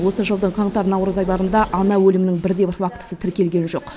осы жылдың қаңтар наурыз айларында ана өлімінің бір де бір фактісі тіркелген жоқ